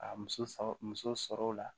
A muso fa musow la